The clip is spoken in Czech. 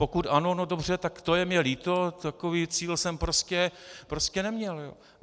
Pokud ano, no dobře, tak to je mi líto, takový cíl jsem prostě neměl.